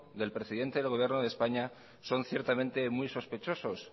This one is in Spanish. del presidente del gobierno de españa son ciertamente muy sospechosos